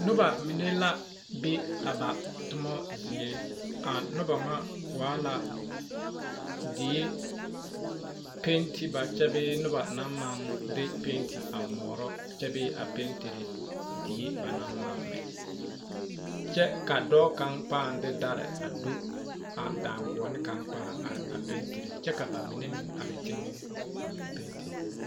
Noba mine la be ba toma zie a noba ŋa waa la die peeteba bee noba naŋ maŋ de peete a moorɔ kyɛ bee peete dere die ba naŋ maŋ mɛ kyɛ ka dɔɔ kaŋa pãã de dare a do a daŋguoni kaŋa a pãã are a peetere kyɛ ka ba mine meŋ be teŋɛ a meŋ pestered.